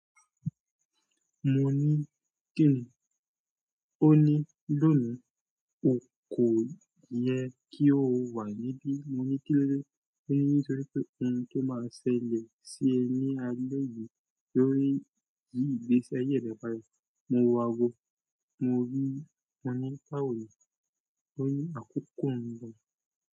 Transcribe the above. Mo ní kíni? Ó ní, lónìí o kò yẹ kí o wà níbí. Mo ní kí ló dẹ́? Ó ní nítorí pé òhun tó máa ṣẹlẹ̀ sí ẹ ní alẹ́ yìí ó ní yi ìgbésí aye re padà. Mo wo aago. Mo ní, mo ní báwo ni? O ni akoko nbo.